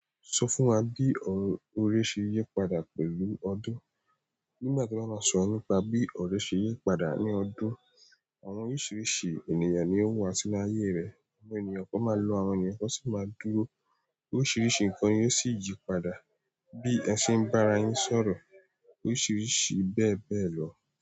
Sọ fún wa bí ọ̀ré ṣe yí padà pẹ̀lú ọdún? Nígbà tí wọ́n máa sọ nípa bí ọ̀ré ṣe yí padà ní ọdún, àwọn oríṣiríṣi ènìyàn ni ó wà sí inú ayé rẹ̀. Àwọn ènìyàn kan máa lọ, àwọn ènìyàn kan sì máa dúró. Oríṣiríṣi nǹkan yóò sì yí padà. Bí ẹ ṣe ń bá ara yín sọ̀rọ̀, oríṣiríṣi bẹ́ẹ̀ bẹ́ẹ̀ lọ.